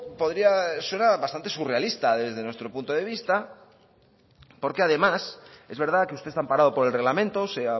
suena bastante surrealista desde nuestro punto de vista porque además es verdad que usted está amparado por el reglamento se